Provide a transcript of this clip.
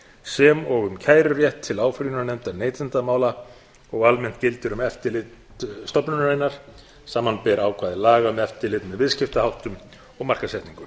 sem og um kærurétt eða áfrýjunarrétt neytendamála og almennt gildir um eftirlit stofnunarinnar samanber ákvæði laga um eftirlit með viðskiptaháttum og markaðssetningu